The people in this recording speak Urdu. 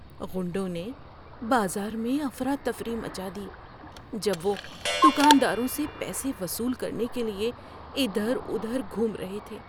غنڈوں نے بازار میں افراتفری مچا دی جب وہ دکانداروں سے پیسے وصول کرنے کے لیے ادھر ادھر گھوم رہے تھے۔